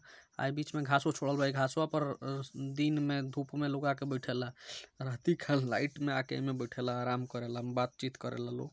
अ बीच में घासो छोरल बा अ इ घासबा पे दिन में धूप में लोग आकर बैठेला | अ राति का लाइट में आके इ में बेठेला अ इ में अराम करेला बातचीत करेला लोग ।